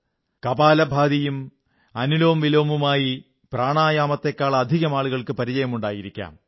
കപാലഭാതിയും അനുലോംവിലോമുമായി പ്രാണായാമത്തെക്കാളധികം ആളുകൾക്ക് പരിചയമുണ്ടായിരിക്കാം